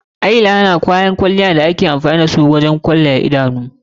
Eye liner ko eyeliner kayan kwalliya ne da ake amfani da su wajen ayyana idanu.